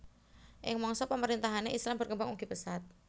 Ing Mangsa pemerintahanne Islam berkembang ugi pesat